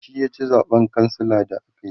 shi ya ci zaɓen kansila da akayi